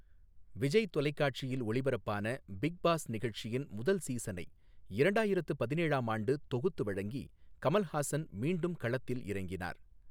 விஜய் தொலைக்காட்சியில் ஒளிபரப்பான Bigg Boss நிகழ்ச்சியின் முதல் சீசனை இரண்டாயிரத்து பதினேழாம் ஆண்டு தொகுத்து வழங்கி கமல்ஹாசன் மீண்டும் களத்தில் இறங்கினார்.